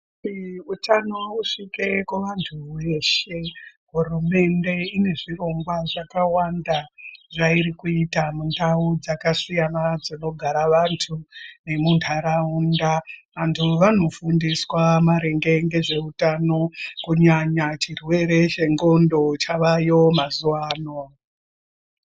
Kuti utano usvike kuvantu veshe, hurumende inezvirongwa zvakawanda, zvayiri kuyita mundau dzakasiyana dzinogara vantu nemundaraunda, vantu vanofundiswa maringe ngezveutano kunyanya chirwere chendxondo chavayo mazuva ano.